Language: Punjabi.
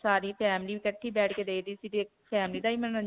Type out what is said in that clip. ਸਾਰੀ family ਇਕੱਠੀ ਬੈਠ ਕੇ ਦੇਖਦੀ ਸੀ. family ਦਾ ਹੀ ਮਨੋਰੰਜਨ